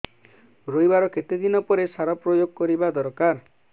ରୋଈବା ର କେତେ ଦିନ ପରେ ସାର ପ୍ରୋୟାଗ କରିବା ଦରକାର